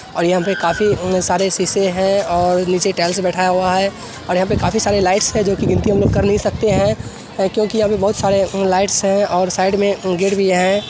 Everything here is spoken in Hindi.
और यहाँ पे काफी अम सारे शीशे है और नीचे टाइल्स बैठाया हुआ है और यहाँ पे काफी सारे लाइट्स है जो कि गिनती हम लोग कर नहीं सकते हैं क्यूंकि अभी बहोत सारे अम लाइट्स हैं और साइड में अम गेट भी है।